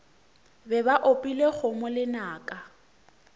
be ba opile kgomo lenaka